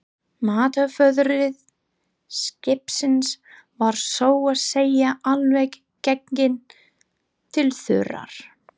Matarforði skipsins var svo að segja alveg genginn til þurrðar.